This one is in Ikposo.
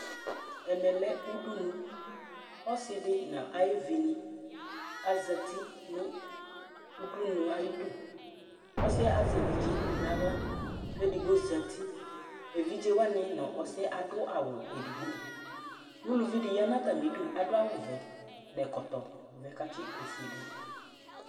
ɛmɛ lɛ udunu ɔsidi nu ayuvini azɛti nụ udunu ayidu ɔsiɛ azɛ evidze naɣla ku edigbo zeti evidzewani nu ɔsiɛ adu awu edigbo uluvidi yanu atamidu adu awuvɛ nu ɛkɔtɔ katsi ofuedu